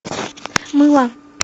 мыло